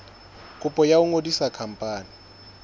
kopo ya ho ngodisa khampani